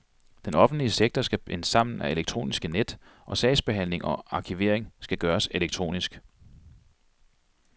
Den offentlige sektor skal bindes sammen af elektroniske net, og sagsbehandling og arkivering skal gøres elektronisk.